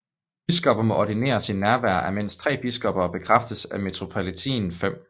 Biskopper må ordineres i nærvær af mindst tre biskopper og bekræftes af metropolitanen 5